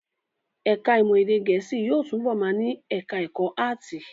Ẹ̀ká ìmọ̀ èdè Gẹ̀ẹ́sì yóò túbọ̀ wà ní ẹ̀ká ẹ̀kọ́ áàtì